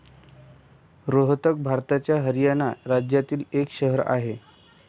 रोहतक भारताच्या हरियाणा राज्यातील एक शहर आहे.